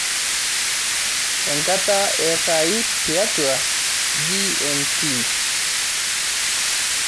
enkata esaai tiatua g.m.t